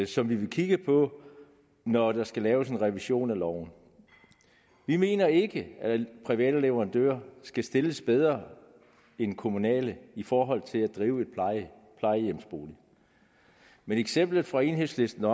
som vi vil kigge på når der skal laves en revision af loven vi mener ikke at private leverandører skal stilles bedre end kommunale i forhold til at drive et plejehjem men eksemplet fra enhedslisten